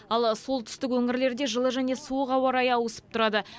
ал солтүстік өңірлерде жылы және суық ауа райы ауысып тұрады